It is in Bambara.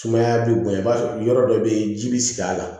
Sumaya bɛ bonya i b'a sɔrɔ yɔrɔ dɔ bɛ yen ji bɛ sigi a la